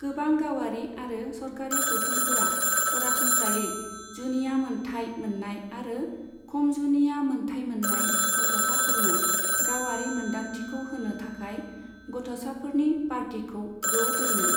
गोबां गावारि आरो सरखारि गौथुमफोरा सरासनस्रायै जुनिया मोन्थाइ मोननाय आरो खम जुनिया मोन्थाइ मोननाय गथ'साफोरनो गावारि मोनदांथिखौ होनो थाखाय गथ'साफोरनि पार्टिखौ ज' दोनो।